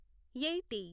eighty